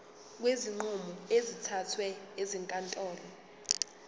kwezinqumo ezithathwe ezinkantolo